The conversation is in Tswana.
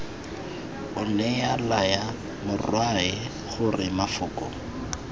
onea laya morwae gore mafoko